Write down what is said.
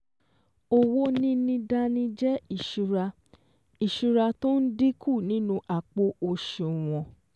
Owó níní dání jẹ́ ìsúra ìsúra tó n dínkù nínú àpò òsùwọ̀n